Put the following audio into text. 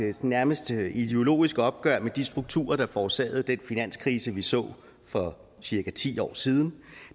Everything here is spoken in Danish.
et nærmest ideologisk opgør med de strukturer der forårsagede den finanskrise vi så for cirka ti år siden